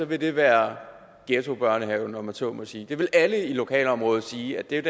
vil det være ghettobørnehaven om jeg så må sige det vil alle i lokalområdet sige